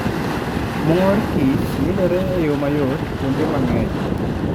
Mor kich yudore eyomayot kuonde mang'eny